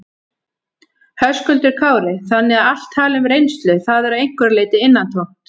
Höskuldur Kári: Þannig að allt tal um reynslu, það er að einhverju leyti innantómt?